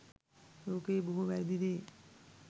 ලෝකයේ බොහෝ වැරැදි දේ